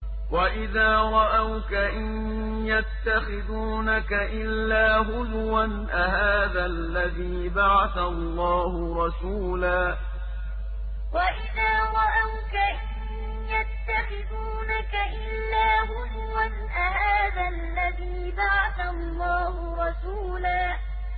وَإِذَا رَأَوْكَ إِن يَتَّخِذُونَكَ إِلَّا هُزُوًا أَهَٰذَا الَّذِي بَعَثَ اللَّهُ رَسُولًا وَإِذَا رَأَوْكَ إِن يَتَّخِذُونَكَ إِلَّا هُزُوًا أَهَٰذَا الَّذِي بَعَثَ اللَّهُ رَسُولًا